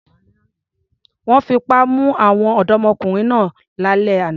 Wọ́n fipá mú àwọn ọ̀dọ́mọkùnrin náà lálẹ́ àná.